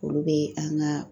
Olu be an ka